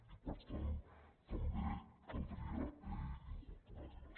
i per tant també caldria incorporar les